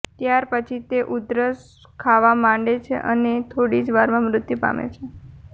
ત્યાર પછી તે ઉધરસ ખાવા માંડે છે અને થોડી જ વારમાં મૃત્યુ પામે છે